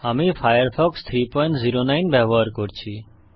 আমি ফায়ারফক্স 309 ব্যবহার করছি